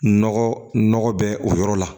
Nɔgɔ nɔgɔ bɛ o yɔrɔ la